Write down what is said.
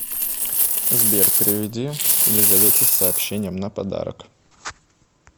сбер переведи елизавете с сообщением на подарок